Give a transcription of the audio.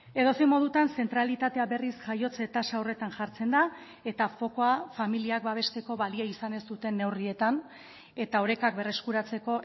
edozein modutan zentralitatea berriz jaiotze tasa horretan jartzen da eta fokua familiak babesteko balio izan ez duten neurrietan eta orekak berreskuratzeko